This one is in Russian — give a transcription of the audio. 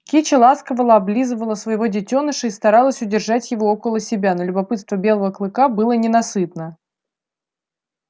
кичи ласково облизывала своего детёныша и старалась удержать его около себя но любопытство белого клыка было ненасытно